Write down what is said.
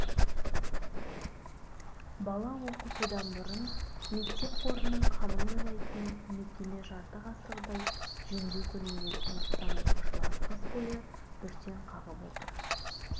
бала оқытудан бұрын мектеп қорының қамын ойлайтын мекеме жарты ғасырдай жөндеу көрмеген сондықтан оқушылар қыс бойы бүрсең қағып отыр